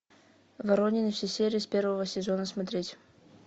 воронины все серии с первого сезона смотреть